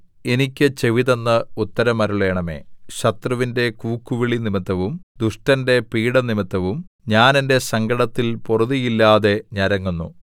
എനിക്ക് ചെവിതന്ന് ഉത്തരമരുളണമേ ശത്രുവിന്റെ കൂക്കുവിളി നിമിത്തവും ദുഷ്ടന്റെ പീഢ നിമിത്തവും ഞാൻ എന്റെ സങ്കടത്തിൽ പൊറുതിയില്ലാതെ ഞരങ്ങുന്നു